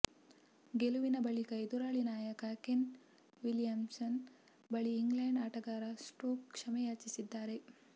ಗೆಲುವಿನ ಬಳಿಕ ಎದುರಾಳಿ ನಾಯಕ ಕೇನ್ ವಿಲಿಯಮ್ಸನ್ ಬಳಿ ಇಂಗ್ಲೆಂಡ್ ಆಟಗಾರ ಸ್ಟೋಕ್ಸ್ ಕ್ಷಮೆ ಯಾಚಿಸಿದ್ದಾರೆ